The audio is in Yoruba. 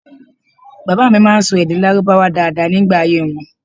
Baba mi ma n sọ èdè lárúbáwá daada nigba ayé wọn